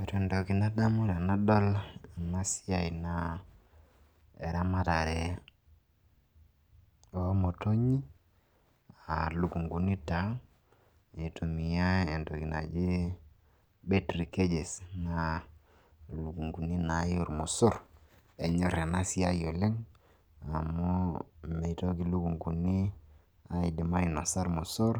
Ore entoki nadamu tenadol ena siai naa eramatare o motonyi a lukung'uni taa aitumia entoki naji battery cages, naa lukung'uni naake o ormosor enyor ena siai oleng' amu mitoki lukung'uni aidim ainosa irmosor,